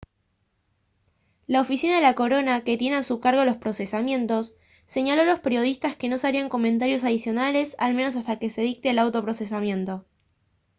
la oficina de la corona que tiene a su cargo los procesamientos señaló a los periodistas que no se harían comentarios adicionales al menos hasta que se dicte el auto de procesamiento